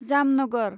Jamnagar